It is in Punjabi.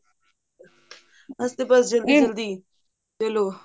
ਅਸੀਂ ਤਾਂ ਬਸ ਜਲੀ ਜਲਦੀ ਚਲੋ